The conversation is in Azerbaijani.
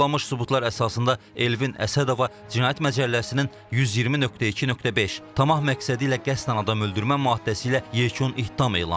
Toplanmış sübutlar əsasında Elvin Əsədova cinayət məcəlləsinin 120.2.5 tamah məqsədilə qəsdən adam öldürmə maddəsi ilə yekun ittiham elan edilib.